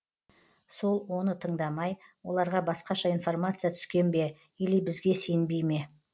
сол оны тыңдамай оларға басқаша информация түскен бе или бізге сенбей ме